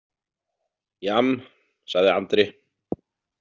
Jamm, sagði Andri.